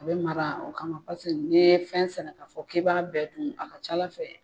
A bɛ mara o kama ka pase ni ye fɛn sɛnɛ k'a fɔ k'i ba bɛɛ dun a ka ca ala fɛ.